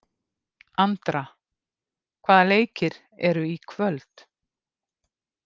Andra, hvaða leikir eru í kvöld?